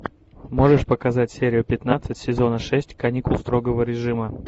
можешь показать серию пятнадцать сезона шесть каникул строгого режима